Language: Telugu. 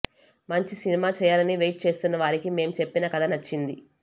మంచి సినిమా చేయాలని వెయిట్ చేస్తున్న వారికి మేం చెప్పిన కథ నచ్చింది